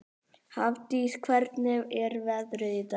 Hafdís, hvernig er veðrið í dag?